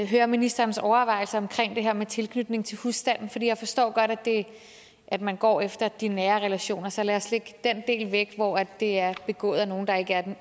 høre ministerens overvejelser omkring det her med tilknytning til husstanden jeg forstår godt at man går efter de nære relationer så lad os lægge den del væk hvor det er begået af nogle der ikke